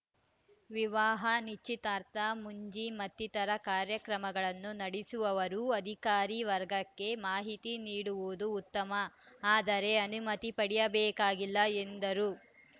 ವಿವಾಹ ನಿಶ್ಚಿತಾರ್ಥ ಮುಂಜಿ ಮತ್ತಿತರರ ಕಾರ್ಯಕ್ರಮಗಳನ್ನು ನಡೆಸುವವರು ಅಧಿಕಾರಿ ವರ್ಗಕ್ಕೆ ಮಾಹಿತಿ ನೀಡುವುದು ಉತ್ತಮ ಆದರೆ ಅನುಮತಿ ಪಡೆಯಬೇಕಾಗಿಲ್ಲ ಎಂದರು